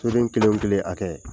Soden kelen o kelen hakɛ.